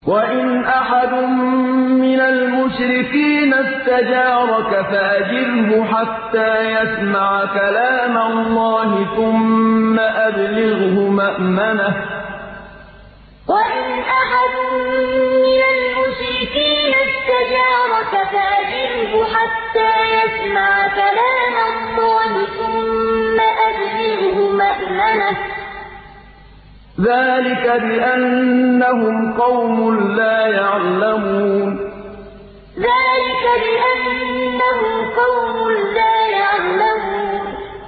وَإِنْ أَحَدٌ مِّنَ الْمُشْرِكِينَ اسْتَجَارَكَ فَأَجِرْهُ حَتَّىٰ يَسْمَعَ كَلَامَ اللَّهِ ثُمَّ أَبْلِغْهُ مَأْمَنَهُ ۚ ذَٰلِكَ بِأَنَّهُمْ قَوْمٌ لَّا يَعْلَمُونَ وَإِنْ أَحَدٌ مِّنَ الْمُشْرِكِينَ اسْتَجَارَكَ فَأَجِرْهُ حَتَّىٰ يَسْمَعَ كَلَامَ اللَّهِ ثُمَّ أَبْلِغْهُ مَأْمَنَهُ ۚ ذَٰلِكَ بِأَنَّهُمْ قَوْمٌ لَّا يَعْلَمُونَ